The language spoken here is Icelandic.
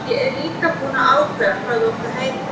Ég er líka búinn að ákveða hvað þú átt að heita.